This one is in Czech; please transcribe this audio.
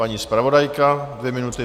Paní zpravodajka, dvě minuty.